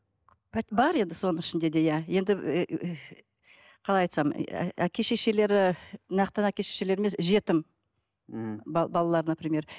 бар енді соның ішінде де иә енді қалай айтсам әке шешелері нақты әке шешелері емес жетім мхм балалар например